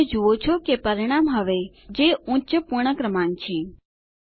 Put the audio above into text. તમે જુઓ છો કે પરિણામ હવે 9702 છે જે ઉચ્ચ પૂર્ણ ક્રમાંક છે